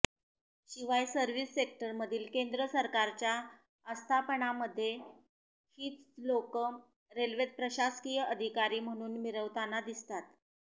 शिवाय सव्र्हिस सेक्टरमधील केंद्र सरकारच्या आस्थापनामध्ये हीच लोकं रेल्वेचे प्रशासकीय अधिकारी म्हणून मिरवताना दिसतात